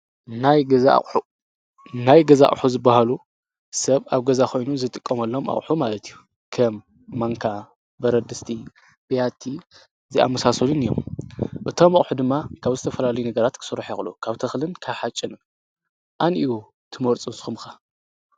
ናይ ገዛቕሑ ዝበሃሉ ሰብ ኣብ ገዛኾይኑ ዝጥቆምሎም ኣቕሑ ማለትዩ ከም ማንካ በረድስቲ ብያቲ ዚኣምሳሶንን እዮም እቶም ኣቕሑ ድማ ካብ ዝተ ፈላሉ ነገራት ክሠሩሕ የቑሉ ካብተኽልን ካሓጭንን ኣንዩ ትመርፁን ስኹምካ።